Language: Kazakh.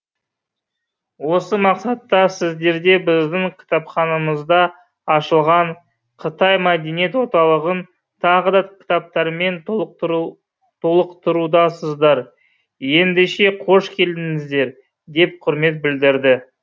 осы мақсатта сіздерде біздің кітапханамызда ашылған қытай мәдениет орталығын тағы да кітаптармен толықтырудасыздар ендеше қош келдіңіздер деп құрмет білдірді